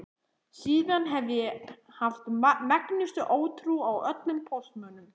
Síðan hef ég haft megnustu ótrú á öllum póstmönnum.